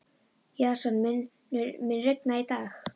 Jason, mun rigna í dag?